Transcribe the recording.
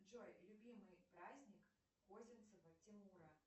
джой любимый праздник козинцева тимура